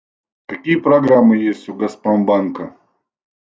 какие программы есть у газпромбанка